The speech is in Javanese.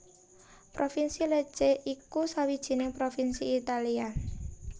Provinsi Lecce iku sawijining provinsi Italia